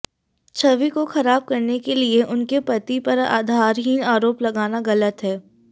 छवि को खराब करने के लिए उनके पति पर आधारहीन आरोप लगाना गलत है